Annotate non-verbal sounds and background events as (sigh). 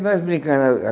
Nós brincando (unintelligible)